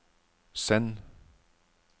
send